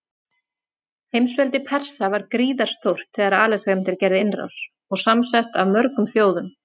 Heimsveldi Persa var gríðarstórt þegar Alexander gerði innrás, og samsett af mörgum þjóðum.